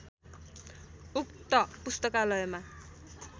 उक्त पुस्तकालयमा